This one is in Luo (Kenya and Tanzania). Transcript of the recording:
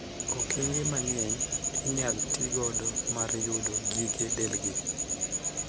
Okenge mang'eny inyal tii godo mar yudo gige delgi.